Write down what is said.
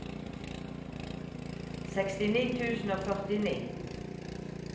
sekstini tusen og førtini